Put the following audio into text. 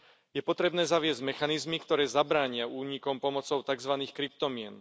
Je potrebné zaviesť mechanizmy, ktoré zabránia únikom pomocou takzvaných kryptomien.